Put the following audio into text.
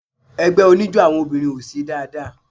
Ẹgbẹ́ oníjó àwọn obìnrin ò ṣe dáadáa.